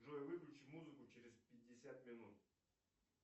джой выключи музыку через пятьдесят минут